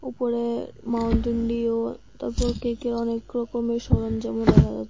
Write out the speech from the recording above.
উপরে মাউন্টেন ডিউক তারপর কেকের অনেকরকমের সরঞ্জামও দেখা যা--